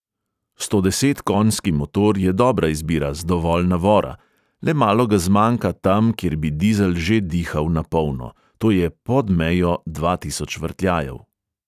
Stodesetkonjski motor je dobra izbira z dovolj navora, le malo ga zmanjka tam, kjer bi dizel že dihal na polno, to je pod mejo dva tisoč vrtljajev.